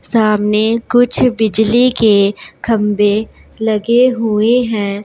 सामने कुछ बिजली के खंभे लगे हुए हैं।